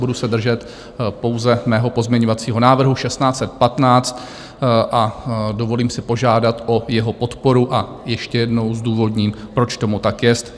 Budu se držet pouze svého pozměňovacího návrhu 1615 a dovolím si požádat o jeho podporu, a ještě jednou zdůvodním, proč tomu tak jest.